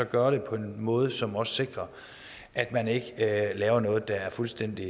gøre det på en måde som sikrer at man ikke laver noget der er fuldstændig